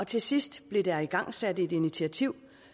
til sidst blev der igangsat et initiativ